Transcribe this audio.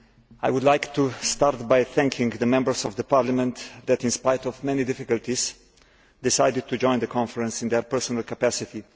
I would like to start by thanking the Members of the Parliament who, despite many difficulties, decided to join the Conference in their personal capacity.